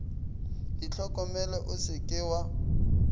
itlhokomele o se ke wa